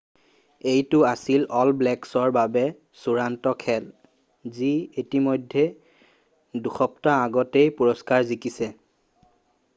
এইটো আছিল all blacks ৰ বাবে চুড়ান্ত খেল যি ইতিমধ্যে দুসপ্তাহ আগতেই পুৰষ্কাৰ জিকিছে